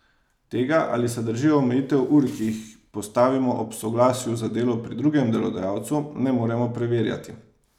Tega, ali se držijo omejitev ur, ki jih postavimo ob soglasju za delo pri drugem delodajalcu, ne moremo preverjati.